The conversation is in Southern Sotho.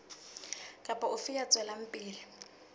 kapa ofe ya tswelang pele